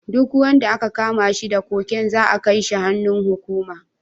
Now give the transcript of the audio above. Duk wanda aka kama shi da cocaine za'a kai shi hannun hukuma.